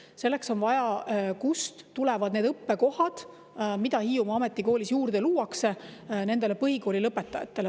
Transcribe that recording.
Selleks on vaja, kust tulevad need õppekohad, mis Hiiumaa Ametikoolis juurde luuakse, nendele põhikooli lõpetajatele.